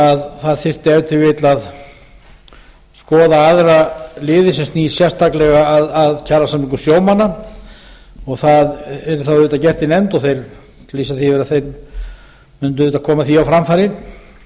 að það þyrfti ef til vill að skoða aðra liði sem snúa sérstaklega að kjarasamningum sjómanna og það yrði þá auðvitað gert í nefnd þeir lýsa því yfir að þeir mundu auðvitað koma því á framfæri